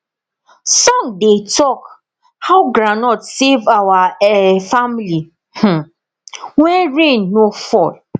song dey talk how groundnut save our um family um when rain no fall